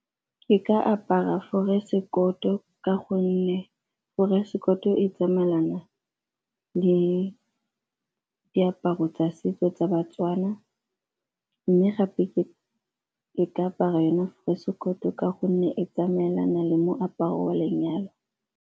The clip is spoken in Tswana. Ke ka apara ka gonne gore e tsamaelana le diaparo tsa setso tsa baTswana mme gape e ka apara yona ka gonne e tsamaelana le moaparo wa lenyalo.